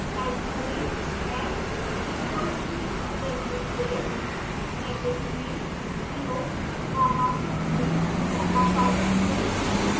type करें x equals to linspace brackets में 0 comma 50 comma 500